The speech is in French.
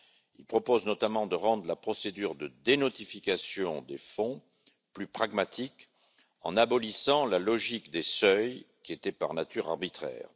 Il propose notamment de rendre la procédure de dénotification des fonds plus pragmatique, en abolissant la logique des seuils qui était par nature arbitraire.